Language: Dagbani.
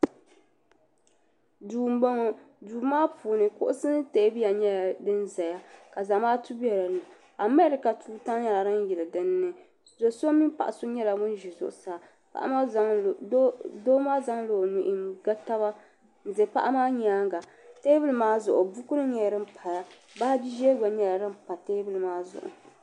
duu m-bɔŋɔ duu maa puuni kuɣisi ni teebuya nyɛla din ʒiya ka zamaatu be din ni Amerika tuuta nyɛla din yeli din ni do' so mini paɣ' so nyɛla ŋun ʒi zuɣusaa doo maa zaŋla o nuhi n-ga taba n-ʒi paɣa maa nyaaga teebuli maa zuɣu bukunima nyɛla din paya baaji ʒee gba nyɛla din pa teebuli maa zuɣu.